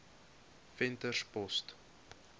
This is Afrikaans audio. venterspost